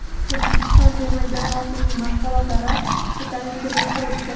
O‘zbekiston terma jamoasining mashg‘ulotlari ko‘tarinki ruhda o‘tdi .